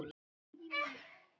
Það er nú týnt.